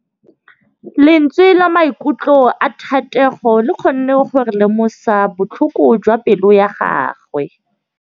Lentswe la maikutlo a Thategô le kgonne gore re lemosa botlhoko jwa pelô ya gagwe.